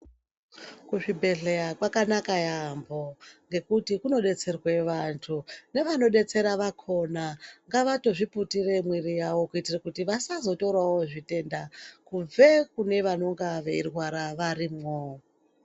Kuzvibhedhleya kwakanaka yaambo ngekuti kunobetserwe vantu. Nevanodetsera vakona ngavatozviputire miviri yavo kuitire kuti vasazotorawo zvitenda kubve kune vanenge veirwara varimwo.